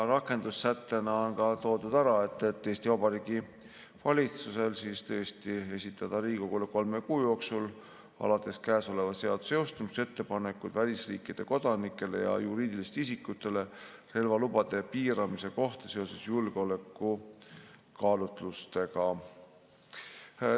Rakendussättena on toodud ära, et Eesti Vabariigi valitsus peaks esitama Riigikogule kolme kuu jooksul alates käesoleva seaduse jõustumisest ettepanekud välisriikide kodanikele ja juriidilistele isikutele relvalubade piiramise kohta seoses julgeolekukaalutlustega.